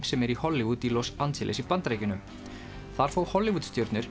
sem er í Hollywood í Los Angeles í Bandaríkjunum þar fá Hollywood stjörnur